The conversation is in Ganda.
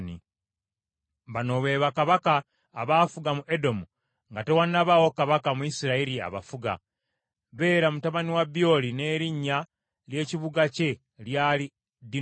Bano be bakabaka abaafuga mu Edomu nga tewannabaawo kabaka mu Isirayiri abafuga: Bera mutabani wa Byoli n’erinnya ly’ekibuga kye lyali Dinukaba.